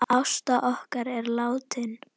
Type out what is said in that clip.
Ásta okkar er látin.